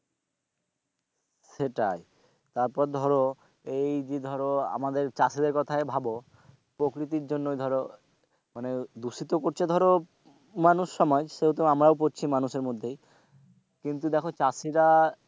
সেটাই তারপর ধরো এই যে ধরো আমাদের চাষেদের কথাই ভাব প্রকৃতির জন্য ধরো মানে দূষিত করছে ধরো মানুষ সময় যেহেতু আমরাও পরছি মানুষের মধ্যেই কিন্তু দেখো চাষিরা,